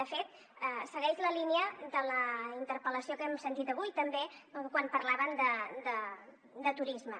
de fet segueix la línia de la interpel·lació que hem sentit avui també quan parlaven de turisme